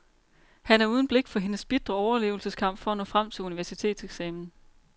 Han er uden blik for hendes bitre overlevelsekamp for at nå frem til universitetseksamen.